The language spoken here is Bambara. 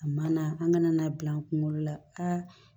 A ma na an kana n'a bila an kunkolo la